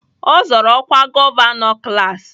Ọ zọọrọ ọkwa gọvanọ klaasị